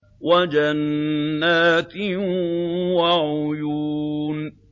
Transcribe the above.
وَجَنَّاتٍ وَعُيُونٍ